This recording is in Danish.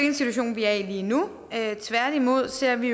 en situation vi er i lige nu tværtimod ser vi